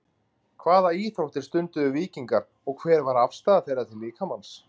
hvaða íþróttir stunduðu víkingar og hver var afstaða þeirra til líkamans